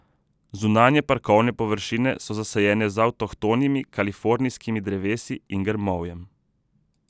Zunanje parkovne površine so zasajene z avtohtonimi kalifornijskimi drevesi in grmovjem.